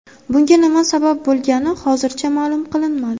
Bunga nima sabab bo‘lgani hozircha ma’lum qilinmadi.